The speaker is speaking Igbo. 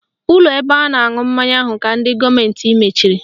Ụlọ ebe a na-aṅụ mmanya ahụ ka ndị gọọmenti mechiri